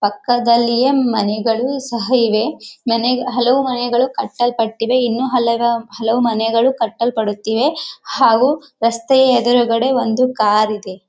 ಪಕ್ಕದಲ್ಲಿಯೇ ಮನೆಗಳು ಸಹ ಇವೆ ಮನೆಗ ಹಲವು ಮನೆಗಳು ಕಟ್ಟಲ್ಪಟಿವೆ ಇನ್ನು ಹಲವ ಹಲವು ಮನೆಗಳು ಕಟ್ಟಲ್ಪಡುತ್ತಿವೆ ಹಾಗು ರಸ್ತೆಯ ಎದುರುಗಡೆ ಒಂದು ಕಾರ್ ಇದೆ.